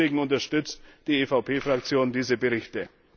Deswegen unterstützt die EVP Fraktion diese Berichte.